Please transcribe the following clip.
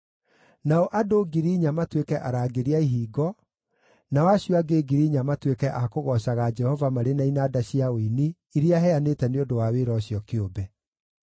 Nao andũ 4,000 matuĩke arangĩri a ihingo, nao acio angĩ 4,000 matuĩke a kũgoocaga Jehova marĩ na inanda cia ũini iria heanĩte nĩ ũndũ wa wĩra ũcio kĩũmbe.”